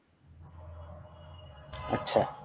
আচ্ছা